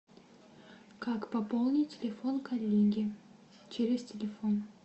как пополнить телефон коллеги через телефон